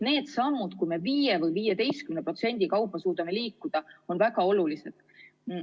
Need sammud, mille korral suudame liikuda kas või 5% või 15% kaupa, on väga olulised.